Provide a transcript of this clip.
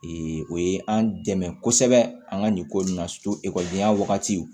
o ye an dɛmɛ kosɛbɛ an ka nin ko in na wagati